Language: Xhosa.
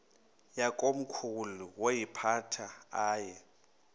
yakomkhulu woyiphatha aye